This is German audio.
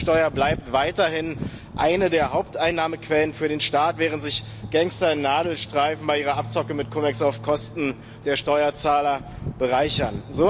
Die Mehrwertsteuer bleibt weiterhin eine der Haupteinnahmequellen für den Staat, während sich Gangster in Nadelstreifen bei ihrer Abzocke mit CumEX auf Kosten der Steuerzahler bereichern.